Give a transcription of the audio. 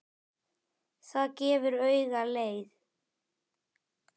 Það gefur auga leið